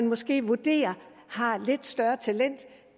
måske vurderes har et lidt større talent